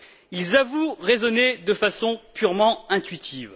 Ils avouent raisonner de façon purement intuitive.